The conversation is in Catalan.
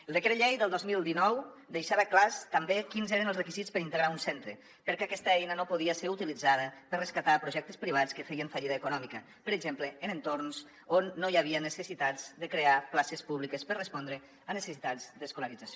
el decret llei del dos mil dinou deixava clars també quins eren els requisits per integrar un centre perquè aquesta eina no podia ser utilitzada per rescatar projectes privats que feien fallida econòmica per exemple en entorns on no hi havia necessitat de crear places públiques per respondre a necessitats d’escolarització